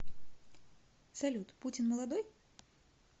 салют путин молодой